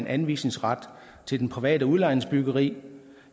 anvisningsret til det private udlejningsbyggeri